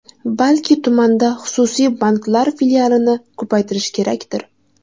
Balki tumanda xususiy banklar filialini ko‘paytirish kerakdir?